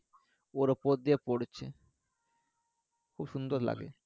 ওর ওপর দিয়ে পড়ছে খুব সুন্দর লাগে